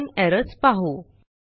common errors पाहू